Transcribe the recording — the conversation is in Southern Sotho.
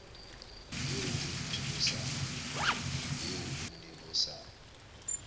eo ho ne ho sa